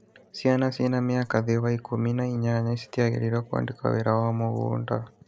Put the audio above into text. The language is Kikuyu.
Ciana ciĩna mĩaka thĩ wa ikũmi na inyanya citiagĩrĩirwo kũandĩkwo wĩra wa mũgũnda